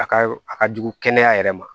A ka a ka jugu kɛnɛya yɛrɛ ma